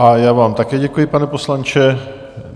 A já vám také děkuji, pane poslanče.